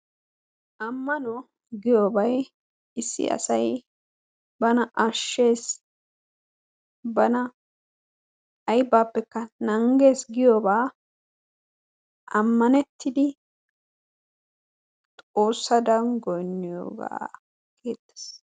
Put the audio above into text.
Ammano giyobay issi asay bana ashees bana aybappe nangees giyogaa ammanettidi Xoossadan goyniyogaa gidees.